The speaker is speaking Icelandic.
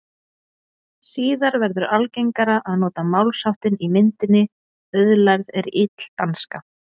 Síðar verður algengara að nota málsháttinn í myndinni auðlærð er ill danska.